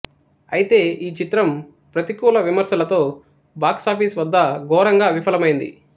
అయితే ఈ చిత్రం ప్రతికూల విమర్శలతో బాక్సాఫీస్ వద్ద ఘోరంగా విఫలమైంది